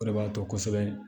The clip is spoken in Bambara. O de b'a to kosɛbɛ